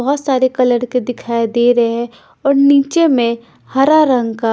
बहुत सारे कलर के दिखाई दे रहे हैं और नीचे में हरा रंग का--